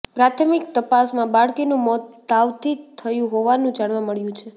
પ્રાથમિક તપાસમાં બાળકીનું મોત તાવથી થયું હોવાનું જાણવા મળ્યું છે